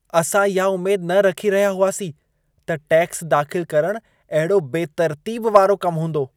असां इहा उमेद न रखी रहिया हुआसी त टैक्स दाख़िल करणु अहिड़ो बेतर्तीब वारो कमु हूंदो।